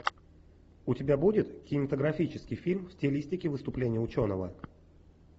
у тебя будет кинематографический фильм в стилистике выступление ученого